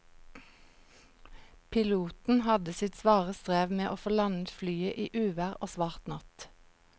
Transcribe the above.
Piloten hadde sitt svare strev med å få landet flyet i uvær og svart natt.